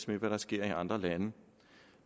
med hvad der sker i andre lande